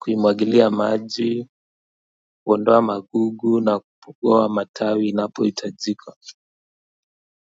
kuimwagilia maji kuondoa magugu na kupugua matawi inapo hitajika.